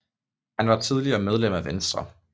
Han var tidligere medlem af Venstre